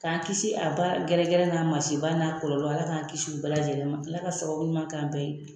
K'an kisi a baara gɛrɛgɛrɛ n'a masiba n'a kɔlɔlɔ ala k'an kisi u bɛɛ lajɛlen ma ala ka sababu ɲuma k'an bɛɛ ye